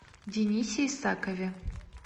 денисе исакове